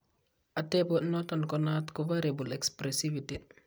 Atepo noton ko naat ko variable expressivity.